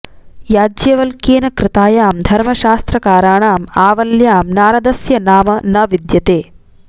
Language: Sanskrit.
याज्ञवल्क्येन कृतायां धर्मशास्त्रकाराणाम् आवल्यां नारदस्य नाम न विद्यते